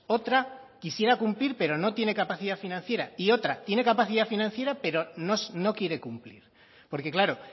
otra quisiera cumplir pero no tiene capacidad financiera y otra tiene capacidad financiera pero no quiere cumplir porque claro